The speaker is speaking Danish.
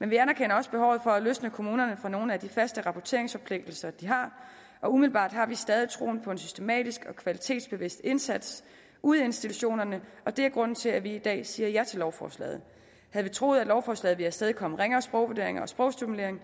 men vi anerkender også behovet for at løsne kommunerne fra nogle af de faste rapporteringsforpligtelser de har og umiddelbart har vi stadig troen på en systematisk og kvalitetsbevidst indsats ude i institutionerne og det er grunden til at vi i dag siger ja til lovforslaget havde vi troet at lovforslaget vil afstedkomme ringere sprogvurderinger og sprogstimulering